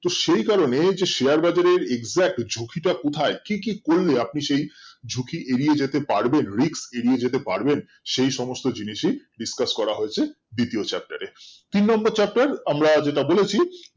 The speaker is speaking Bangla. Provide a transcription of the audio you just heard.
সেই কারণেই share বাজারে exact ঝুঁকি তা কোথায় কি কি করলে আপনি সেই ঝুঁকি এড়িয়ে যেতে পারবেন rix এড়িয়ে যেতে পারবেন সেই সমস্ত জিনিস ই discuss করা হয়েছে দ্বিতীয় chapter এ তিন নম্বর chapter আমরা যেটা বলেছি